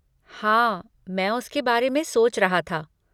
हाँ, मैं उसके बारे में सोच रहा था।